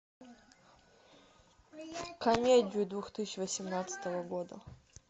комедию две тысячи восемнадцатого года